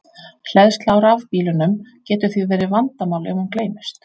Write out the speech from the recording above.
Hleðsla á rafbílunum getur því verið vandamál ef hún gleymist.